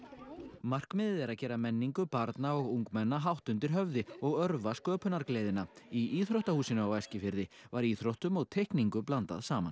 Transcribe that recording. markmiðið er að gera menningu barna og ungmenna hátt undir og örva sköpunargleðina í íþróttahúsinu á Eskifirði var íþróttum og teikningu blandað saman